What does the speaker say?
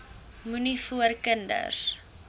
moenie voor kinders